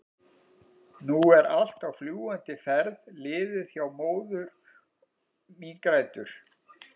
nú allt er á fljúgandi ferð liðið hjá- og móðir mín grætur.